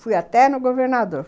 Fui até no governador.